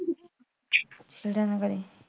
ਫਿਟੇ ਮੂੰਹ ਕਰੇ